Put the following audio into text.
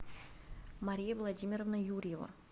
мария владимировна юрьева